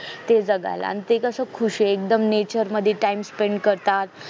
ते जगायला आणि ते कसे एकदम खुश आहे nature मध्ये time spent करतात